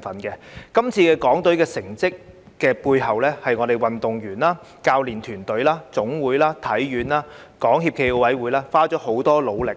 在這次港隊成績背後，是運動員、教練團隊、總會、香港體育學院和港協暨奧委會花了很多努力